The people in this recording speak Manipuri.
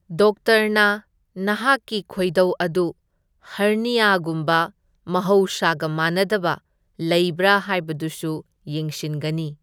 ꯗꯣꯛꯇꯔꯅ ꯅꯍꯥꯛꯀꯤ ꯈꯣꯢꯗꯧ ꯑꯗꯨ ꯍꯔꯅꯤꯌꯥꯒꯨꯝꯕ ꯃꯍꯧꯁꯥꯒ ꯃꯥꯟꯅꯗꯕ ꯂꯩꯕ꯭ꯔꯥ ꯍꯥꯢꯕꯗꯨꯁꯨ ꯌꯦꯡꯁꯤꯟꯒꯅꯤ꯫